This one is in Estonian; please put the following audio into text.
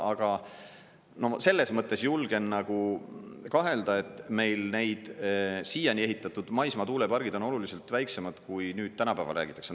Aga selles mõttes julgen nagu kahelda, et meil need siiani ehitatud maismaatuulepargid on oluliselt väiksemad, kui nüüd tänapäeval räägitakse.